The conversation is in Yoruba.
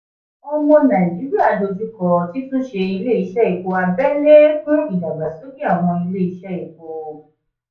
omo naijiria dojú kọ títún ṣe ilé iṣẹ́ epo abẹ́lé fún ìdàgbàsókè àwọn ilé epo.